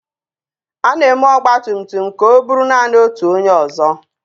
A na-eme ọgba tum tum ka o buru naanị otu onye ọzọ.